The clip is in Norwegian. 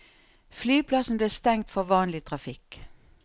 Flyplassen ble stengt for vanlig trafikk.